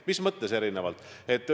Mis mõttes erinevalt?